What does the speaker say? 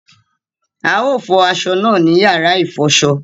A o fọ aṣọ náà ní yàrá ifọṣọ